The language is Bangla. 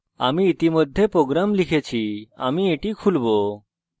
আমি ইতিমধ্যে program লিখেছি আমি এটি খুলবো